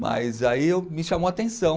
Mas aí eu me chamou a atenção.